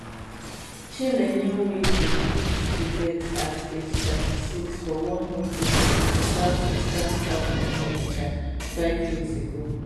chinenye nweze bleed to death at age 36 for one hospital in di southeastern town of onitsha five years ago